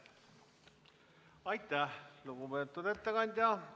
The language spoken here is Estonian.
Aitäh, lugupeetud ettekandja!